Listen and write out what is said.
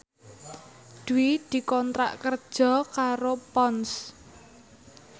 Dwi dikontrak kerja karo Ponds